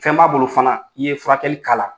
Fɛn b'a bolo fana? i ye furakɛli k'ala.